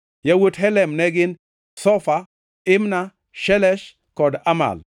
Yawuot Helem ne gin: Zofa, Imna, Shelesh kod Amal.